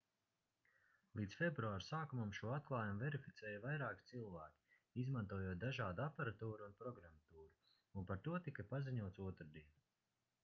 līdz februāra sākumam šo atklājumu verificēja vairāki cilvēki izmantojot dažādu aparatūru un programmatūru un par to tika paziņots otrdien